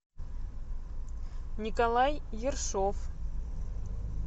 николай ершов